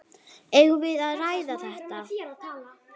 Eigum við að ræða þetta?